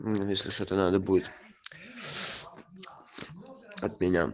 ну если что-то надо будет от меня